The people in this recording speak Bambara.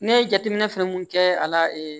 Ne ye jateminɛ fɛn mun kɛ a la